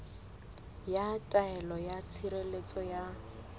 ya taelo ya tshireletso ya